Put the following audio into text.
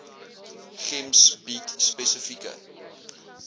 gems bied spesifieke